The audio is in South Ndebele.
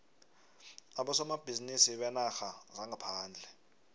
abosomabhizinisi beenarha zangaphandle